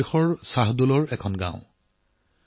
মধ্যপ্ৰদেশৰ বিচাৰপুৰ শ্বাহদলৰ এখন গাঁও